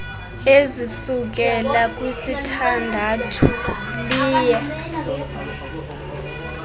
ezisukela kwisithandathu liye